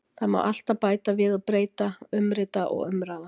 Það má alltaf bæta við og breyta, umrita og umraða.